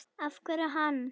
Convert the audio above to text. Af hverju hann?